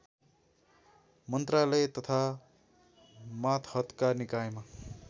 मन्त्रालय तथा मातहतका निकायमा